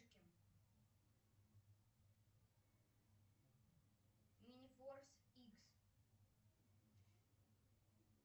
мини форс икс